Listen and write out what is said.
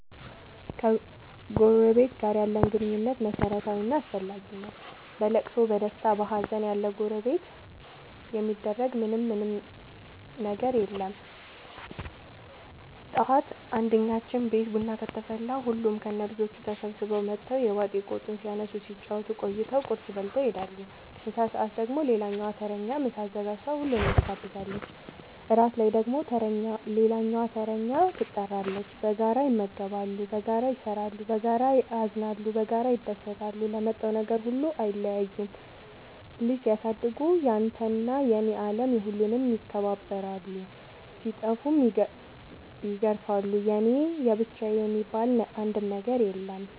ከጎረበት ጋር ያለን ግንኙነት መረታዊ እና አስፈላጊ ነገር ነው። በለቅሶ በደስታ በሀዘን ያለጎረቤት የሚደረግ ምን ምንም ነገር የለም ጠዋት አንድኛችን ቤት ቡና ከተፈላ ሁሉም ከነ ልጆቹ ተሰብስበው መተው የባጥ የቆጡን ሲያነሱ ሲጫወቱ ቆይተው ቁርስ በልተው ይሄዳሉ። ምሳ ሰአት ደግሞ ሌላኛዋ ተረኛ ምሳ አዘጋጅታ ሁሉንም ትጋብዛለች። እራት ላይ ደግሞ ሌላኛዋተረኛ ትጣራለች። በጋራ ይመገባሉ በጋራ ይሰራሉ። በጋራ ያዝናሉ በጋራ ይደሰታሉ ለመጣው ነገር ሁሉ አይለያዩም ልጅ ሲያሳድጉ ያንተና የኔ የለም የሁሉንም ይከባከባሉ ሲጠፉም ይገርፋሉ የኔ የብቻዬ የሚባል አንድም ነገር የለም እኛ ጋር።